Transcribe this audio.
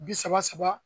Bi saba saba